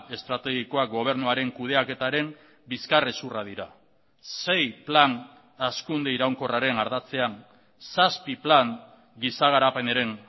estrategikoak gobernuaren kudeaketaren bizkarrezurra dira sei plan hazkunde iraunkorraren ardatzean zazpi plan giza garapenaren